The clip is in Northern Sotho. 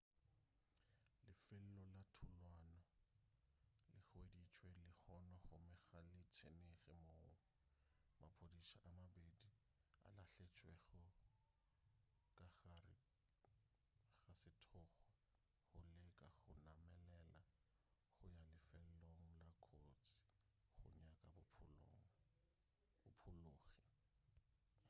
lefelo la thulano le hweditšwe lehono gomme ga le tsenege moo maphodisa a mabedi a lahletšwego ka gare ga sethokgwa go leka go namelela go ya lefelong la kotsi go nyaka baphologi